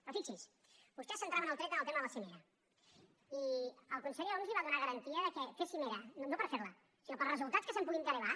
però fixi s’hi vostès centraven el tret en el tema de la cimera i el conseller homs li va donar garantia que fer cimera no per fer la sinó pels resultats que se’n puguin derivar